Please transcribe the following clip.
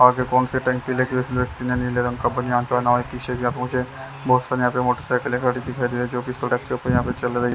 आगे कौन से टैंक नीले रंग का बानियान पहना है मोटरसाइकिल खड़ी हुई दिखाई दे रही है जो की सड़क के ऊपर यहाँ पे चल रही है।